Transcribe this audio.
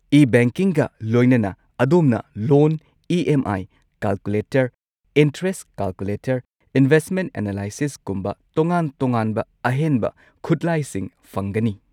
ꯏ-ꯕꯦꯡꯀꯤꯡꯒ ꯂꯣꯏꯅꯅ, ꯑꯗꯣꯝꯅ loan E. M. I. Calculator , interest calculator, investment ꯑꯦꯅꯥꯂꯥꯏꯁꯤꯁꯀꯨꯝꯕ ꯇꯣꯉꯥꯟ-ꯇꯣꯉꯥꯟꯕ ꯑꯍꯦꯟꯕ ꯈꯨꯠꯂꯥꯏꯁꯤꯡ ꯐꯪꯒꯅꯤ꯫